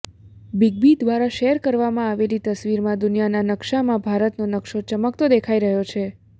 big B દ્વારા share કરવામાં આવેલી તસવીરમાં દુનિયાના નક્શામાં ભારતનો નક્શો ચમકતો દેખાઈ રહ્યો છે